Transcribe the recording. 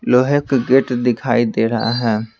लोहे का गेट दिखाई दे रहा है ।